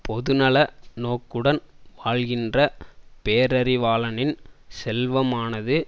பொதுநல நோக்குடன் வாழ்கின்ற பேரறிவாளனின் செல்வமானது